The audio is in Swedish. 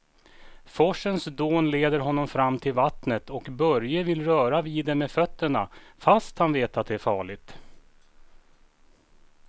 Forsens dån leder honom fram till vattnet och Börje vill röra vid det med fötterna, fast han vet att det är farligt.